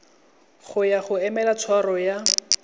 ya go emela tshwaro ya